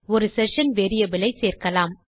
ஒரு session variable ஐ சேர்க்கலாம்